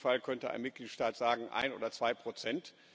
Im schlimmsten Fall könnte ein Mitgliedstaat sagen ein oder zwei Prozent.